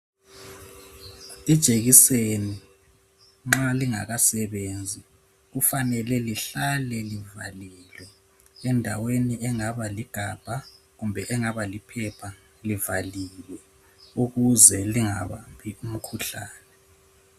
Ijekiseni nxa lingakasebenzi kufanele lihlale livalelwe ,endaweni engaba ligabha kumbe engaba liphepha livaliwe ukuze lingabambi imikhuhlane.